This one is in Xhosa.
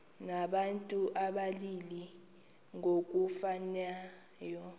abantu abalili ngokufanayo